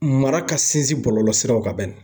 Mara ka sinsin bɔlɔlɔsiraw kan bɛnni!